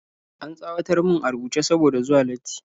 An tsawatar mun a rubuce saboda zuwa latti